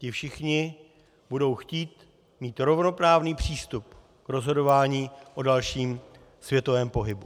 Ti všichni budou chtít mít rovnoprávný přístup k rozhodování o dalším světovém pohybu.